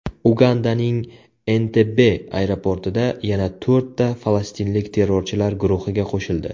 Ugandaning Entebbe aeroportida yana to‘rtta falastinlik terrorchilar guruhiga qo‘shildi.